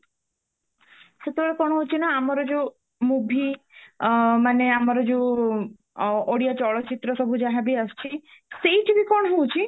ସେତେବେଳେ କଣ ହଉଚି ନା ଆମର ଯୋଉ movie ମାନେ ଆମର ଯୋଉ ଓଡିଆ ଚଳଚିତ୍ର ସବୁ ଯାହା ବି ଆସୁଚି ସେଇଠି ବି କଣ ହଉଚି